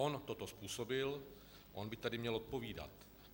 On toto způsobil, on by tady měl odpovídat.